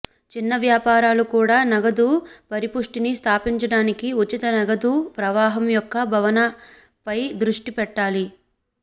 చిన్న వ్యాపారాలు కూడా నగదు పరిపుష్టిని స్థాపించడానికి ఉచిత నగదు ప్రవాహం యొక్క భావనపై దృష్టి పెట్టాలి